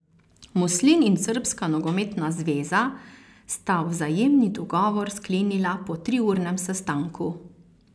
Muslin in Srbska nogometna zveza sta vzajemni dogovor sklenila po triurnem sestanku.